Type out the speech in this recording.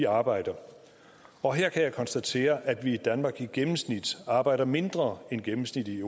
arbejder og her kan jeg konstatere at vi i danmark i gennemsnit arbejder mindre end gennemsnittet